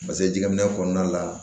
Paseke jɛgɛminɛ kɔnɔna la